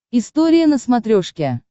история на смотрешке